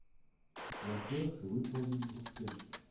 платеж выполнен успешно